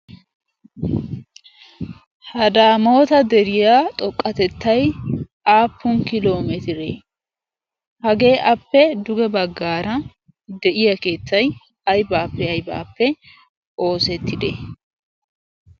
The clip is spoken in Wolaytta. ha daamoota deriya xoqqatettai aappun kiloomeetiiree hagee appe duge baggaara de'iya keettay aybaappe aybaappe oosettide